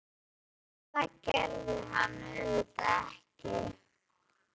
En það gerði hann auðvitað ekki.